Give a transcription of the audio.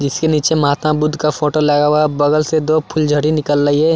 जिसके नीचे महात्मा बुद्ध का फोटो लगा हुआ है बगल से दो फूलझड़ी निकल रही है।